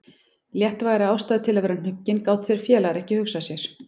Léttvægari ástæðu til að vera hnuggin gátu þeir félagar ekki hugsað sér.